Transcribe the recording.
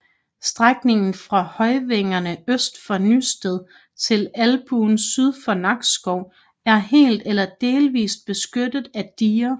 Strækningen fra Høvængerne øst for Nysted til Albuen syd for Nakskov er helt eller delvist beskyttet af diger